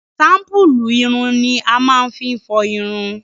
shampulu ìrùn ni a máa fi n fọ ìrùn.